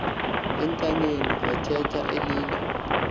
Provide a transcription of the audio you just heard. entanyeni vathetha elila